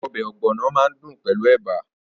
Ọbẹ̀ ogbono máa dùn pẹ̀lú ẹ̀bà.